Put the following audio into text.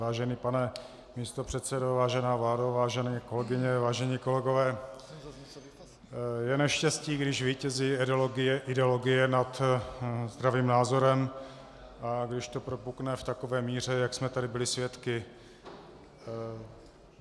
Vážený pane místopředsedo, vážená vládo, vážené kolegyně, vážení kolegové, je neštěstí, když vítězí ideologie nad zdravým názorem a když to propukne v takové míře, jak jsme tady byli svědky.